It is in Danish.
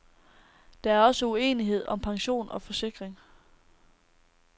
Der er også uenighed om pension og forsikring.